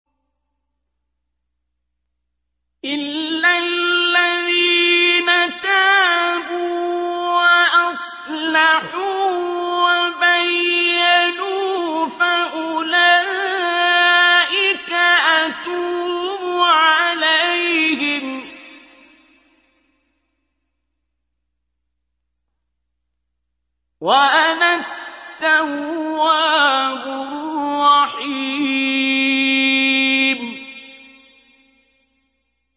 إِلَّا الَّذِينَ تَابُوا وَأَصْلَحُوا وَبَيَّنُوا فَأُولَٰئِكَ أَتُوبُ عَلَيْهِمْ ۚ وَأَنَا التَّوَّابُ الرَّحِيمُ